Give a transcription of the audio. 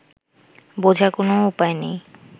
বোঝার কোনও উপায় নেই